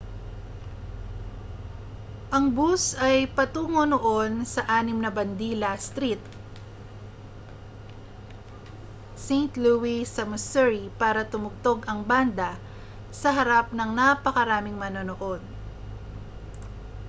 ang bus ay patungo noon sa anim na bandila st louis sa missouri para tumugtog ang banda sa harap ng napakaraming manonood